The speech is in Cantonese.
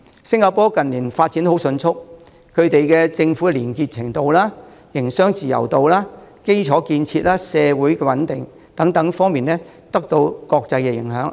新加坡近年發展十分迅速，政府的廉潔程度、營商自由度、基礎建設、社會穩定等方面均得到國際認可。